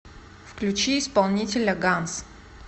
включи исполнителя ганз